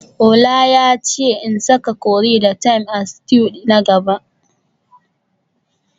Ola yace in saka curry da thyme a stew na gaba